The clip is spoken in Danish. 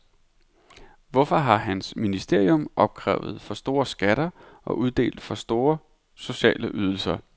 Hvorfor har hans ministerium opkrævet for store skatter og uddelt for små sociale ydelser?